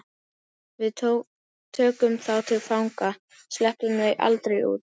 Við tökum þá til fanga. sleppum þeim aldrei út.